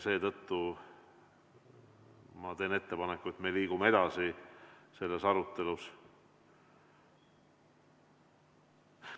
Seetõttu ma teen ettepaneku, et liigume arutelus edasi.